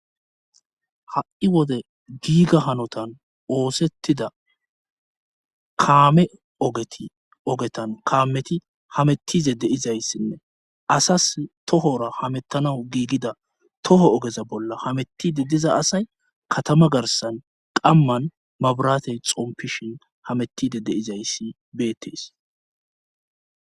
ha7i wode giiga hanotan oosettida kaame ogeti ogetan kaameti hamettize deizayssinne asas tohora hamettanawu giigida toho ogeza bolla hametide diza asay katama garsan qamman mabarate xompishin hamettide deizayssi beettees